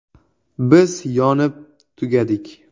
Biz “yonib tugadik”.